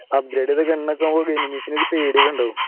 upgrade ചെയ്ത gun ഒക്കെയാകുമ്പോൾ enemies ന് ഒരു പേടി ഒക്കെയുണ്ടാവും